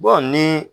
ni